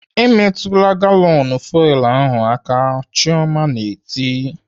"Emetụla galọnụ fuwel ahụ aka!" Chioma na-eti